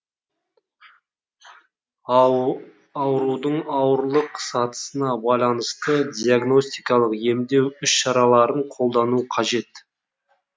аурудың ауырлық сатысына байланысты диагностикалық емдеу іс шараларын қолдану қажет